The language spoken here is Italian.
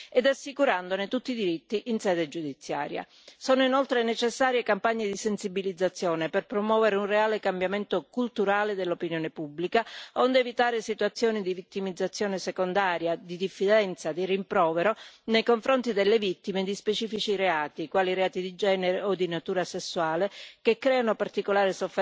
Sono inoltre necessarie campagne di sensibilizzazione per promuovere un reale cambiamento culturale dell'opinione pubblica, onde evitare situazioni di vittimizzazione secondaria, di diffidenza, di rimprovero, nei confronti delle vittime di specifici reati, quali i reati di genere o di natura sessuale, che creano particolare sofferenza nelle vittime, soprattutto se giovani o giovanissime.